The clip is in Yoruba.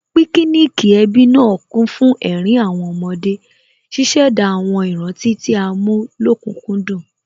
Píkíníìkì ẹbí náà kún fún ẹ̀rín àwọn ọmọdé, ṣíṣẹ̀dá àwọn ìrántí tí a mú lókùkúndùn